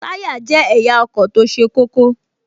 Táyá jẹ́ ẹ̀yà ọkọ̀ tó ṣe kókó